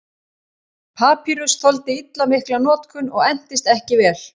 Papýrus þoldi illa mikla notkun og entist ekki vel.